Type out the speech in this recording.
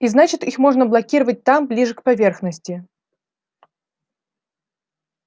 и значит их можно блокировать там ближе к поверхности